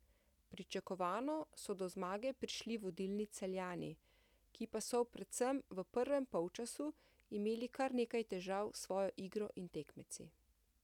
Pričakovano so do zmage prišli vodilni Celjani, ki pa so predvsem v prvem polčasu imeli kar nekaj težav s svojo igro in tekmeci.